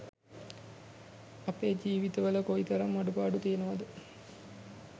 අපේ ජීවිත වල කොයි තරම් අඩුපාඩු තියෙනවද